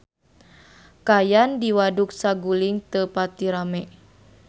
Kaayaan di Waduk Saguling teu pati rame